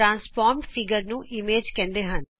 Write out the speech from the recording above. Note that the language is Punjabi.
ਰੂਪਾਤਂਰਿਤ ਆਕਾਰ ਨੂੰ ਇਮੇਜ ਕਹਿੰਦੇ ਹਨ